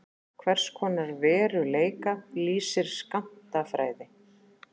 Hvers konar veruleika lýsir skammtafræði?